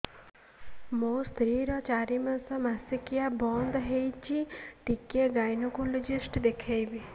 ମୋ ସ୍ତ୍ରୀ ର ଚାରି ମାସ ମାସିକିଆ ବନ୍ଦ ହେଇଛି ଟିକେ ଗାଇନେକୋଲୋଜିଷ୍ଟ ଦେଖେଇବି